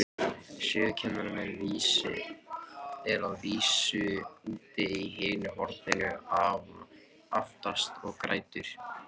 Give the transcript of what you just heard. Sögukennarinn er að vísu úti í hinu horninu, aftast, og grætur.